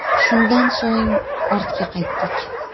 Shundan so‘ng ortga qaytdik.